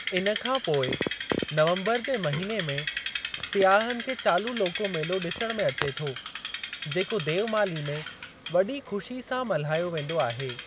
इन खां पोइ नवम्बरु जे महीने में सियाहन खे चालू लोको मेलो ॾिसणु में अचे थो जेको देवमाली में वॾी ख़ुशी सां मल्हायो वेंदो आहे।